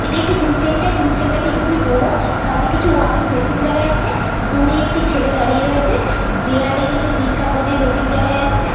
এটি একটি gym centre. Gym centre -টি খুবই বড়। সামনে কিছু ওয়াকিং মেশিন দেখা যাচ্ছে। দূরে একটি ছেলে দাঁড়িয়ে রয়েছে। দেয়ালে কিছু বিজ্ঞাপনের হোর্ডিং দেখা যাচ্ছে ।